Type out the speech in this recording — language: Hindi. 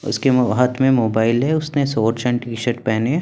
उसके हाथ में मोबाइल है उसने शॉर्ट्स एंड टी शर्ट पहने हैं।